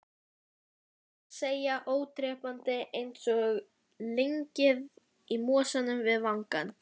Ólseiga, ódrepandi, einsog lyngið í mosanum við vangann.